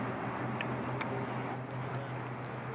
mntu exwebile kubonakala